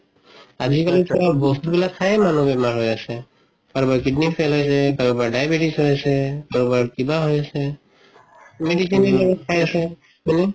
আজিকালি চোৱা বস্তুবিলাক খাইয়ে মানুহ বেমাৰ হয় আছে কাৰোবাৰ kidney stone হৈছে কাৰোবাৰ diabetics হৈছে কাৰোবাৰ কিবা হয় আছে medicine য়ে খাই আছে হয় নে